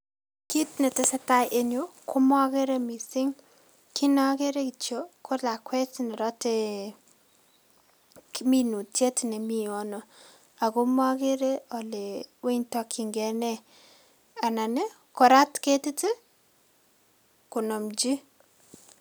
Kit netesetai en yu komokere missing', kit nokere kitiok ko lakwet nerotee minutiet nemi yono ago mokere ole wany tokyingei nee anan ii korat ketiti ii konomchi.